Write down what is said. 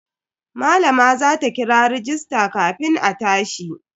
Malama za ta kira rajista kafin a tashi.